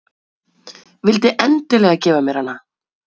Vildi endilega gefa mér hana.